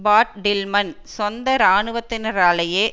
பாட் Tillman சொந்த இராணுவத்தினராலேயே